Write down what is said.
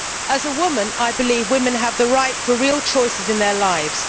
As a woman I believe women have the right to real choices in their lives.